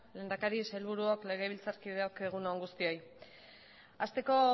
lehendakari sailburuok legebiltzarkideok egun on guztioi hasteko